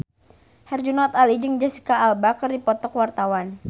Herjunot Ali jeung Jesicca Alba keur dipoto ku wartawan